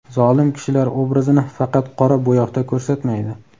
zolim kishilar obrazini faqat qora bo‘yoqda ko‘rsatmaydi.